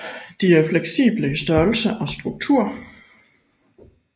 De er fleksible i størrelse og struktur